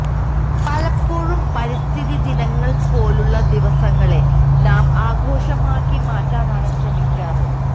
പലപ്പോഴും പരിസ്ഥിതി ദിനങ്ങള് പോലുള്ള ദിവസങ്ങളെ നാം ആഘോഷമാക്കി മാറ്റാനാണ് ശ്രമിക്കാറ്